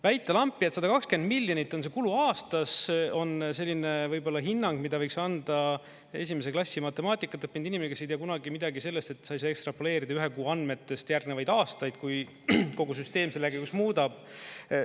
Väita lampi, et 120 miljonit on see kulu aastas, on selline võib-olla hinnang, mida võiks anda esimese klassi matemaatikat õppinud inimene, kes ei tea kunagi midagi sellest, et sa ei saa ekstrapoleerida ühe kuu andmetest järgnevaid aastaid, kui kogu süsteem selle käigus muudab.